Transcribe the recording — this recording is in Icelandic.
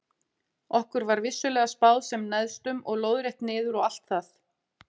Okkur var vissulega spáð sem neðstum og lóðrétt niður og allt það.